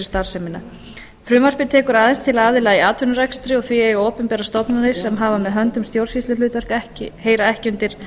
starfsemina frumvarpið tekur aðeins til aðila í atvinnurekstri og því eiga opinberar stofnanir sem hafa með höndum stjórnsýsluhlutverk ekki undir